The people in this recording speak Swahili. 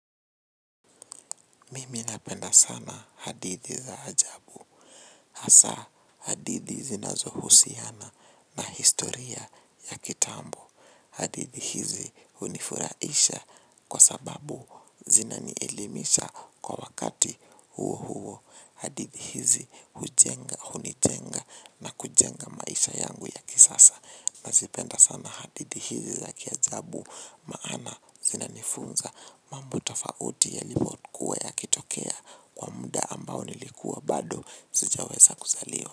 Mimi napenda sana hadithi za ajabu. Asa hadithi zinazohusiana na historia ya kitambo. Hadithi hizi unifuraisha kwa sababu zinanielimisha kwa wakati huo huo. Hadithi hizi hujenga hunijenga na kujenga maisha yangu ya kisasa. Na zipenda sana hadidi hizi za kiajabu maana zina nifunza mambo tofauti yalibokua ya kitokea kwa muda ambao nilikuwa bado sijawesa kuzaliwa.